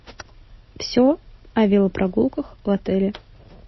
все о велопрогулках в отеле